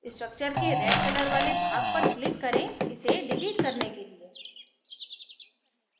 structure के red colour वाले भाग पर click करें इसको डिलीट करने के लिए